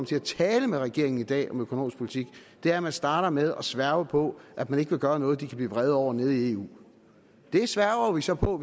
til at tale med regeringen i dag om økonomisk politik er at man starter med at sværge på at man ikke vil gøre noget de kan blive vrede over nede i eu det sværger vi så på